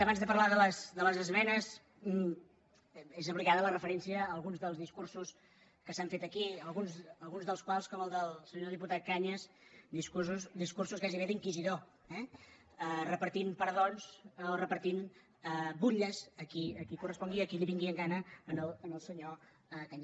abans de parlar de les esmenes és obligada la referència a alguns dels discursos que s’han fet aquí alguns dels quals com el del senyor diputat cañas discursos gairebé d’inquisidor eh repartint perdons o repartint butlles a qui correspongui i a qui li vingui en gana al senyor cañas